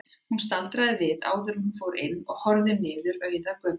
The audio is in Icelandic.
Hún staldraði við áður en hún fór inn og horfði niður mannauða götuna.